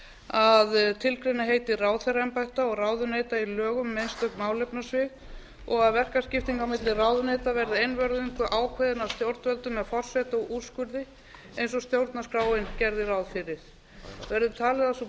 að tilgreina heiti ráðherraembætta og ráðuneyta í lögum um einstök málefnasvið og að verkaskipting á milli ráðuneyta verði einvörðungu ákveðin af stjórnvöldum af forsetaúrskurði eins og stjórnarskráin gerði ráð fyrir verður talið að sú breyting sé í fyllra samræmi við